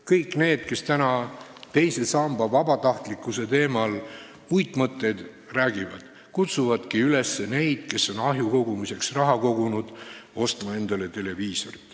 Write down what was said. Kõik need, kes täna teise samba vabatahtlikkuse teemal uitmõtteid ette kannavad, kutsuvadki üles inimesi, kes on ahju parandamiseks raha kogunud, ostma endale televiisorit.